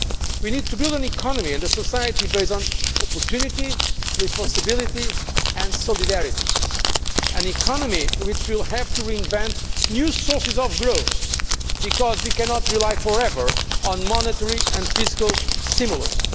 We need to build an economy and a society based on opportunity, responsibility and solidarity, an economy which will have to reinvent new sources of growth because we cannot rely for ever on monetary and fiscal stimulus